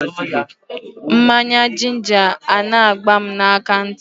Mmanya jinja a na-agba m akantị.